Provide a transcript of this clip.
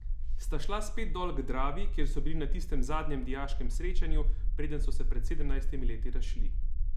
Sta šla spet dol k Dravi, kjer so bili na tistem zadnjem dijaškem srečanju, preden so se pred sedemnajstimi leti razšli.